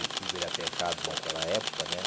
E tudo era pecado naquela época, né?